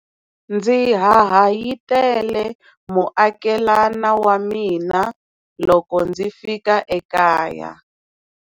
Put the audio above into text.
Ndzi hahayitele muakelana wa mina loko ndzi fika ekaya.